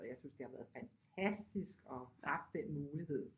Og jeg synes det har været fantastisk og haft den mulighed